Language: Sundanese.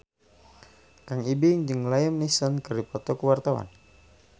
Kang Ibing jeung Liam Neeson keur dipoto ku wartawan